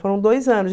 Foram dois anos.